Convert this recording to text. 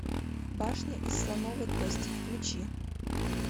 башня из слоновой кости включи